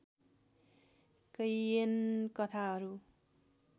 कैयन कथाहरू